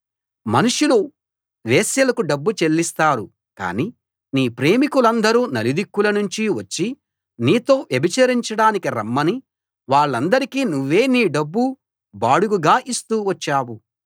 మనుషులు వేశ్యలకు డబ్బు చెల్లిస్తారు కాని నీ ప్రేమికులందరూ నలుదిక్కుల నుంచి వచ్చి నీతో వ్యభిచరించడానికి రమ్మని వాళ్ళందరికీ నువ్వే నీ డబ్బు బాడుగగా ఇస్తూ వచ్చావు